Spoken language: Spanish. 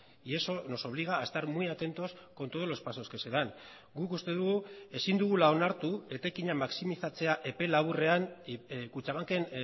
y eso nos obliga a estar muy atentos con todos los pasos que se dan guk uste dugu ezin dugula onartu etekina maximizatzea epe laburrean kutxabanken